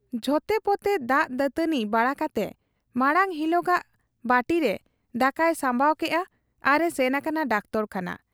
ᱡᱷᱚᱛᱮᱯᱚᱛᱮ ᱫᱟᱜ ᱫᱟᱹᱛᱟᱹᱣᱱᱤ ᱵᱟᱲᱟ ᱠᱟᱛᱮ ᱢᱟᱬᱟᱝ ᱦᱤᱞᱚᱜᱟᱜᱜᱮ ᱵᱟᱹᱴᱤᱨᱮ ᱫᱟᱠᱟᱭ ᱥᱟᱢᱵᱟᱣ ᱠᱮᱜ ᱟ, ᱟᱨ ᱮ ᱥᱮᱱ ᱟᱠᱟᱱᱟ ᱰᱟᱠᱛᱚᱨᱠᱷᱟᱱᱟ ᱾